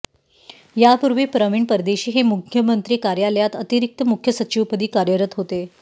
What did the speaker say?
यापूर्वी प्रवीण परदेशी हे मुख्यमंत्री कार्यालयात अतिरिक्त मुख्य सचिवपदी कार्यरत होते